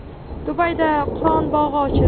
Dubayda Qur’on bog‘i ochildi.